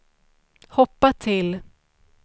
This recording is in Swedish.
hoppa till